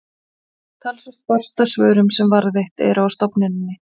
talsvert barst af svörum sem varðveitt eru á stofnuninni